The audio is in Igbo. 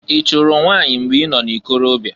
I chụrụ nwanyị mgbe i nọ n'ikorobia?